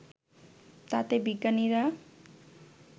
তাতে বিজ্ঞানীরা